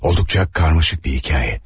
Olduqca karmaşıq bir hekayə.